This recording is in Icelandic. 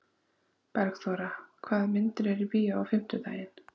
Bergþóra, hvaða myndir eru í bíó á fimmtudaginn?